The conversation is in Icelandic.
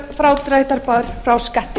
frádráttarbær frá skatti